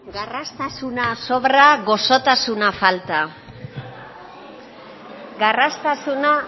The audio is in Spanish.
garraztasuna sobra goxotasuna falta garraztasuna